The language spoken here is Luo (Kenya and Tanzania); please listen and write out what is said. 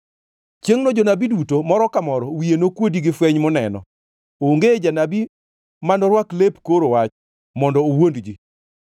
“Chiengʼno jonabi duto, moro ka moro wiye nokuodi gi fweny moneno. Onge janabi ma norwak lep koro wach mondo owuond ji.